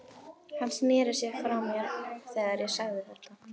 Hann sneri sér frá mér þegar ég sagði þetta.